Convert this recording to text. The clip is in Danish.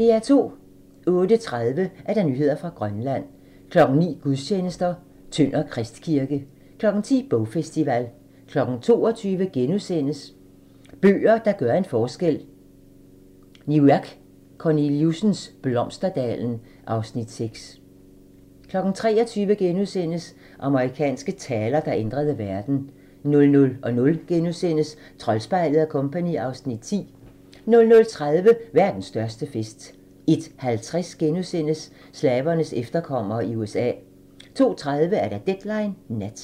08:30: Nyheder fra Grønland 09:00: Gudstjenester: Tønder Kristkirke 10:00: Bogfestival 22:00: Bøger, der gør en forskel: Niviaq Korneliussens "Blomsterdalen" (Afs. 6) 23:00: Amerikanske taler, der ændrede verden * 00:00: Troldspejlet & Co. (Afs. 10)* 00:30: Verdens største fest * 01:50: Slavernes efterkommere i USA * 02:30: Deadline Nat